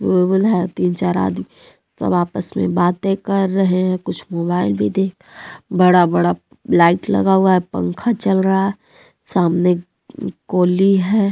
है तीन चार आदमी सब आपस में बातें कर रहे हैं कुछ मोबाइल देख बड़ा बड़ा लाइट लगा हुआ है पंखा चल रहा है सामने कोली है।